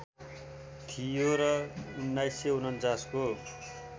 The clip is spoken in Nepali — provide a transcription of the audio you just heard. थियो र १९४९ को